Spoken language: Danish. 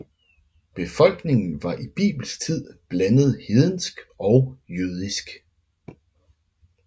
Befolkningen var i bibelsk tid blandet hedensk og jødisk